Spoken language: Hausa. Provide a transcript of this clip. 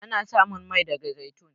Ana samun Mai daga zaitun.